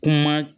Kuma